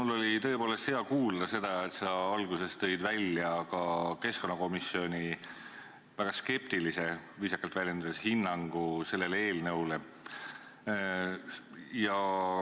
Mul oli tõepoolest hea kuulda, et sa alguses tõid välja ka keskkonnakomisjoni väga skeptilise – viisakalt väljendudes – hinnangu sellele eelnõule.